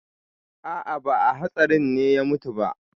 A'a, ba a hatsarin ne ya mutu ba.